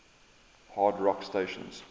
hard rock stations